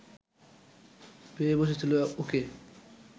পেয়ে বসেছিল ওকে